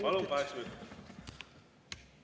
Palun, kaheksa minutit!